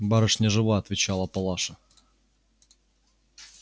барышня жива отвечала палаша